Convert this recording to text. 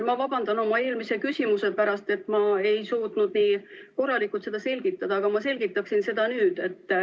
Ma vabandan oma eelmise küsimuse pärast, et ma ei suutnud nii korralikult seda selgitada, aga ma selgitaksin seda nüüd.